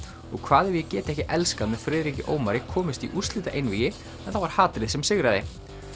og hvað ef ég get ekki elskað með Friðriki Ómari komust í úrslitaeinvígi en það var hatrið sem sigraði